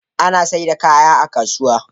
Ana saida kaya a kasuwa